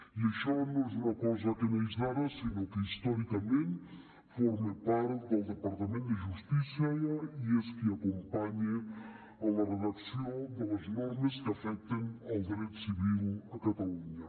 i això no és una cosa que neix d’ara sinó que històricament forma part del departament de justícia i és qui acompanya en la redacció de les normes que afecten el dret civil a catalunya